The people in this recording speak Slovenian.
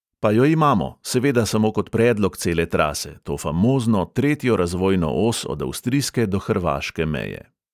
Pa jo imamo, seveda samo kot predlog cele trase, to famozno tretjo razvojno os od avstrijske do hrvaške meje.